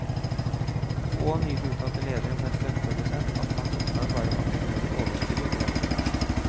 Og nylig uttalte lederen for en strømprodusent av hans oppgave var å maksimere overskuddet for aksjonærene.